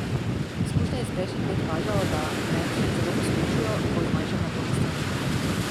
Izkušnje iz prejšnjih let kažejo, da meti zelo poskočijo, ko zmanjšam napornost treningov.